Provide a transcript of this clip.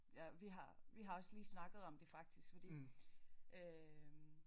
Ja vi har vi har også lige snakket om det faktisk fordi øh